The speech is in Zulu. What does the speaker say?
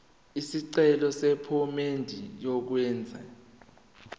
isicelo sephomedi yokwenze